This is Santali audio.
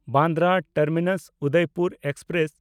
ᱵᱟᱱᱫᱨᱟ ᱴᱟᱨᱢᱤᱱᱟᱥ–ᱩᱫᱚᱭᱯᱩᱨ ᱮᱠᱥᱯᱨᱮᱥ